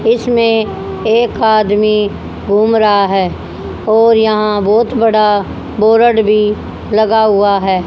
इसमें एक आदमी घूम रहा है और यहां बहोत बड़ा बोरड भी लगा हुआ है।